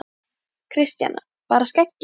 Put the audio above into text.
Kristjana: Bara skeggið?